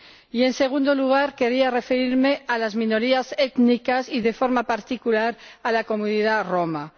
Y, en segundo lugar, querría referirme a las minorías étnicas y, de forma particular, a la comunidad romaní.